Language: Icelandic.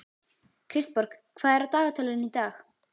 Kristborg, hvað er á dagatalinu í dag?